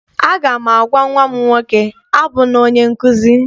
Aga m agwa nnwa m nwoke, abụla onye nkụzi!